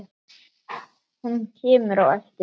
Hún kemur á eftir honum.